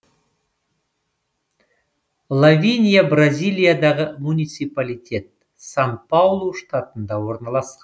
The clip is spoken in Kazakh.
лавиния бразилиядағы муниципалитет сан паулу штатында орналасқан